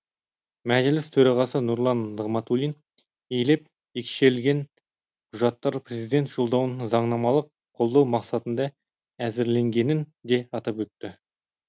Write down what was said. мәжіліс төрағасы нұрлан нығматулин елеп екшелген құжаттар президент жолдауын заңнамалық қолдау мақсатында әзірленгенін де атап өтті